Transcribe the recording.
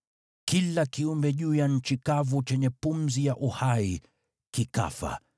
Kila kiumbe juu ya nchi kavu chenye pumzi ya uhai kikafa.